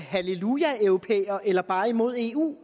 hallelujaeuropæer eller bare imod eu